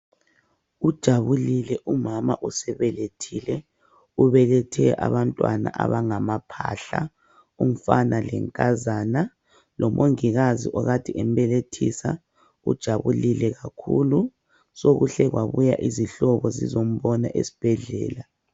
Ujabulile umama osebelethile ubelethe abantwana abangama phahla umfana lenkazana lomongikazi okade embelethisa ujabulile kakhulu sokuhle kwabuya izihlobo zizombona esibhedlela.